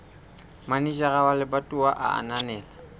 manejara wa lebatowa a ananela